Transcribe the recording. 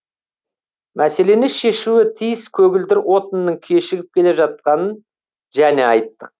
мәселені шешуі тиіс көгілдір отынның кешігіп келе жатқанын және айттық